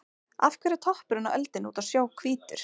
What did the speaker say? Af hverju er toppurinn á öldunni úti á sjó hvítur?